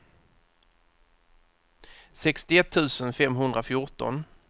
sextioett tusen femhundrafjorton